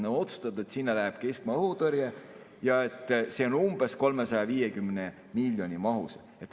On otsustatud, et sinna läheb keskmaa õhutõrje ja et see on umbes 350 miljoni mahus.